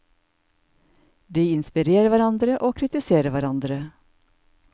De inspirerer hverandre og kritiserer hverandre.